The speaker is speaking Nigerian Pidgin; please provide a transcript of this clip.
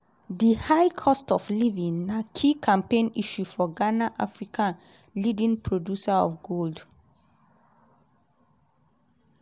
di high cost of living na key campaign issue for ghana africa leading producer of gold.